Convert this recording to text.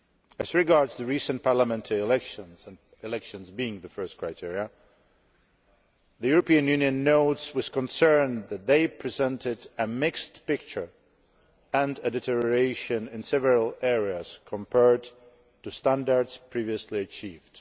As regards the recent parliamentary elections elections being the first criterion the European Union notes with concern that they presented a mixed picture and a deterioration in several areas compared to standards previously achieved.